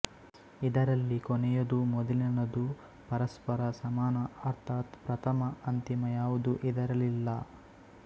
ಇದರಲ್ಲಿ ಕೊನೆಯದೂ ಮೊದಲಿನದೂ ಪರಸ್ಪರ ಸಮಾನ ಅರ್ಥಾತ್ ಪ್ರಥಮ ಅಂತಿಮ ಯಾವುದೂ ಇದರಲ್ಲಿಲ್ಲ